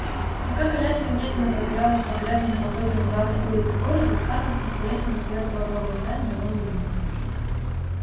пока коляска медленно пробиралась по грязным колдобинам главной улицы города скарлетт с интересом разглядывала новые здания и новые лица